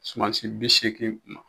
Sumansi bi seegin